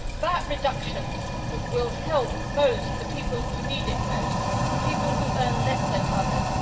VAT reductions will help most the people who need it most the people who earn less than others.